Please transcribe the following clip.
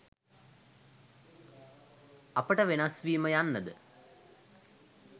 අපට වෙනස් වීම යන්න ද